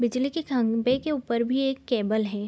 बिजली के खंभे के ऊपर भी एक केबल है।